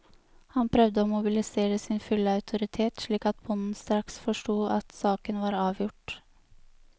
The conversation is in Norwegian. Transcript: Han prøvde å mobilisere sin fulle autoritet, slik at bonden straks forsto at saken var avgjort.